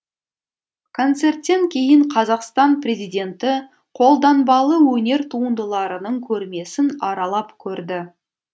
концерттен кейін қазақстан президенті қолданбалы өнер туындыларының көрмесін аралап көрді